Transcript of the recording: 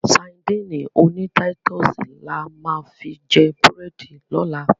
Sadíìnì oní táítọ̀sì la máa fi jẹ búrẹ́dì lọ́la.